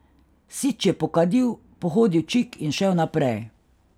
Sič je pokadil, pohodil čik in šel naprej.